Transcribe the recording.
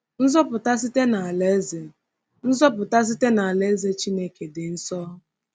Nzọpụta site n’Alaeze Nzọpụta site n’Alaeze Chineke dị nso!